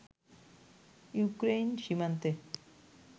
Ukraine সীমান্তে